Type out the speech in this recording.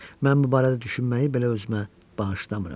Mən bu barədə düşünməyi belə özümə bağışlamıram.